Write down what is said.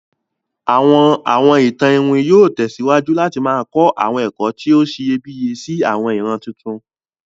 Àwọn Awọn ìtàn iwin yóò tẹ̀síwájú láti ma kọ àwọn ẹ̀kọ́ ti o siyẹbíyẹ si àwọn ìran tuntun.